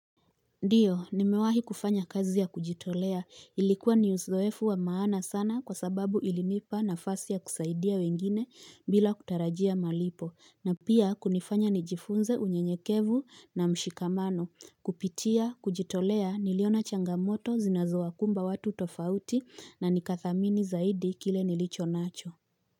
Ndiyo nimewahi kufanya kazi ya kujitolea ilikuwa ni uzoefu wa maana sana kwa sababu ilinipa nafasi ya kusaidia wengine bila kutarajia malipo na pia kunifanya nijifunze unyenyekevu na mshikamano kupitia kujitolea niliona changamoto zinazowakumba watu tofauti na nikathamini zaidi kile nilicho nacho.